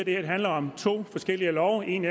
at det her handler om to forskellige love en